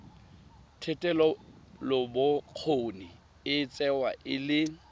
thetelelobokgoni e tsewa e le